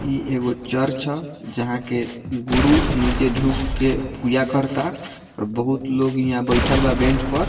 इ एगो चर्च है जहां के गुरु निचे झुक के पूजा करता और बहुत लोग यहाँ बैठल बा बेंच पर।